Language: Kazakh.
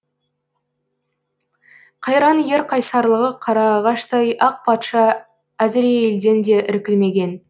қайран ер қайсарлығы қара ағаштай ақ патша әзірейілден де іркілмеген